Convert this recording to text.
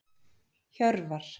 Hjörvar